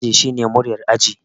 Shugaban aji shine muryar aji